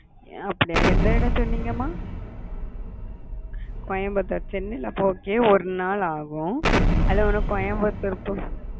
அப்பிடியா எந்த இடம் சொன்னீங்க மா coimbatorechennai ல போர்துக்கே ஒரு நாள் ஆகும் அதுல உனக்கு coimbatore